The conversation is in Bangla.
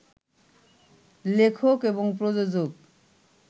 লেখক এবং প্রযোজক